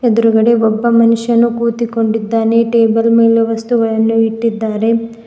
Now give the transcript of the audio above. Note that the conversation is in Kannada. ಎದುರಗಡೆ ಒಬ್ಬ ಮನುಷ್ಯನು ಕೂತಿಕೊಂಡಿದ್ದಾನೆ ಟೇಬಲ್ ಮೇಲೆ ವಸ್ತುಗಳನ್ನು ಇಟ್ಟಿದ್ದಾರೆ.